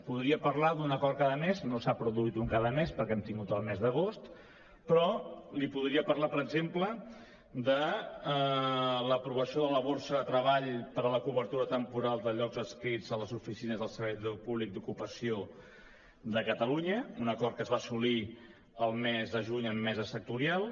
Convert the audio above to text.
podria parlar d’un acord cada mes no s’ha produït un cada mes perquè hem tingut el mes d’agost però li podria parlar per exemple de l’aprovació de la borsa de treball per a la cobertura temporal de llocs adscrits a les oficines del servei públic d’ocupació de catalunya un acord que es va assolir el mes de juny amb mesa sectorial